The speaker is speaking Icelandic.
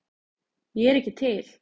Ég er ekki til